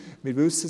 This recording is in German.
Wir wissen es: